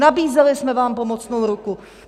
Nabízeli jsme vám pomocnou ruku.